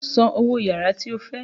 San owó yàrá tí o fẹ́!